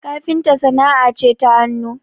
kafinta sana'a ce ta hannu